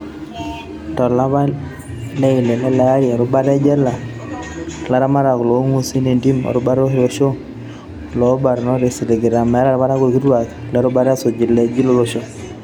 Tolapa le ile lele arii, erubata ejela, laramatak loonguasi entim, erubata olosho ool barnot kesiligitay metaa ilparakuo kituak le rubata esuju iljeshi lolosho.